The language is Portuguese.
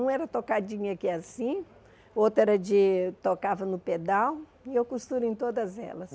Uma era tocadinha aqui assim, outra era de... tocava no pedal, e eu costuro em todas elas.